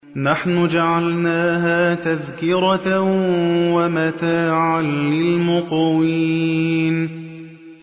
نَحْنُ جَعَلْنَاهَا تَذْكِرَةً وَمَتَاعًا لِّلْمُقْوِينَ